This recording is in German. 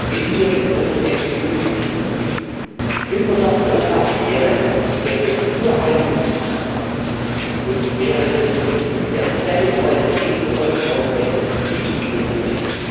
Wenn wir den europäischen Film nehmen Die Filmwirtschaft Europas wäre, gäbe es nur einen Binnenmarkt und wäre das Prinzip der Territorialität von heute auf morgen weg, nicht lebensfähig.